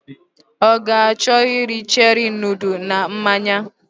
Ọ ga achọ iri cherie nọdles na mmanya